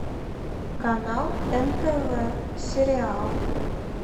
канал нтв сериал